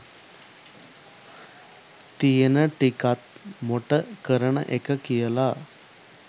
තියෙන ටිකත් මොට කරන එක කියලා